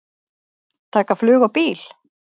Taka flug og bíl?